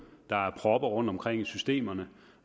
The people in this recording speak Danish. der er propper rundtomkring i systemet